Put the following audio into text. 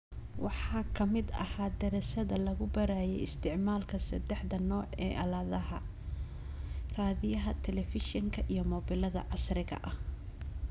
Waxaa ka mid ahaa daraasado lagu baarayay isticmaalka saddexda nooc ee aaladaha : raadiyaha , telefishinka , iyo mobilada / casriga ah .